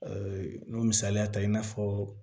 n'o misaliya ta i n'a fɔ